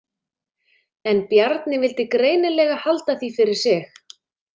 En Bjarni vildi greinilega halda því fyrir sig.